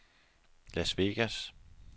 Las Vegas